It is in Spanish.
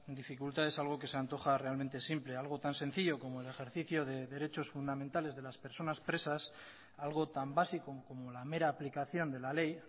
dificultades a algo que se antoja realmente simple algo tan sencillo como el ejercicio de derechos fundamentales de las personas presas algo tan básico como la mera aplicación de la ley